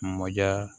Mɔdiya